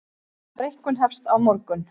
Breikkun hefst á morgun